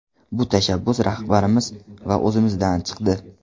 Bu tashabbus rahbarimiz va o‘zimizdan chiqdi.